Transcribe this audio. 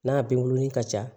N'a binkurunin ka ca